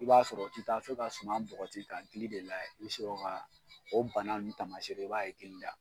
I b'a sɔrɔ o ti taa fɔ ka suman bɔgɔti k'a gili de layɛ i bi sɔrɔ ka o bana ni taamasere i b'a ye gili la